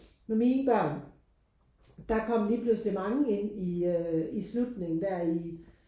Med mine børn der kom lige pludselig mange ind i øh i slutningen der i